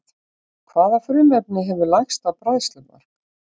Hvaða frumefni hefur lægsta bræðslumark?